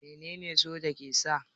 Menene soja ke sa?